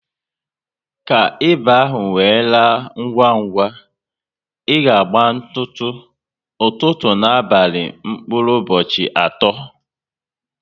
Ka ịba ahụ we laa ngwa ngwa, ị ga agba ntutu, ụtụtụ ná abalị mkpụrụ ụbọchị atọ